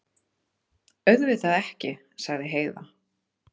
Auðvitað ekki, sagði Heiða.